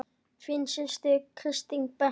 Þín systir, Kristín Berta.